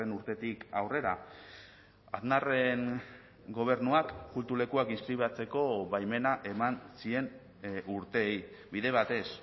urtetik aurrera aznarren gobernuak kultu lekuak inskribatzeko baimena eman zien urteei bide batez